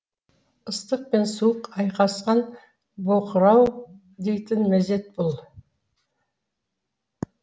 ыстық пен суық айқасқан боқырау дейтін мезет бұл